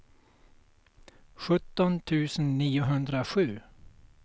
sjutton tusen niohundrasju